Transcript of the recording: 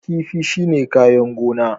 Kifi shine kayan gona